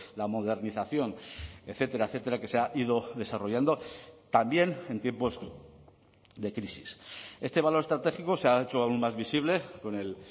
la modernización etcétera etcétera que se ha ido desarrollando también en tiempos de crisis este valor estratégico se ha hecho aun más visible con el